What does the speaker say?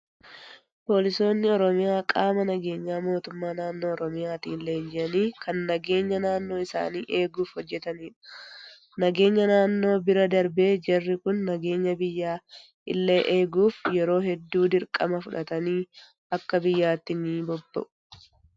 Poolisoonni oromiyaa qaama nageenyaa mootummaa naannoo oromiyaatiin leenji'anii kan nageenya naannoo isaanii eeguuf hojatanidha. Nageenya naannoo bira darbee jarri kun nageenya biyyaa illee eeguuf yeroo hedduu dirqama fudhatanii akka biyyaatti ni bobba'u.